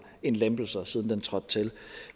end lempelser siden den trådte til